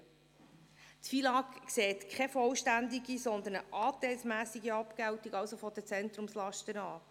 Das FILAG sieht keine vollständige, sondern eine anteilsmässige Abgeltung der Zentrumslasten vor.